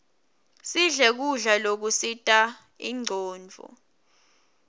sidle kudla lokusita inronduo